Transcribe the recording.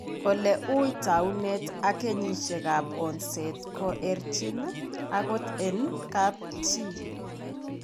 Ole wuuy taakunet ak kenyisiekap onset koerchin, akot en kapchi.